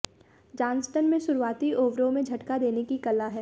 Johnston में शुरुआती ओवरों में झटका देने की कला है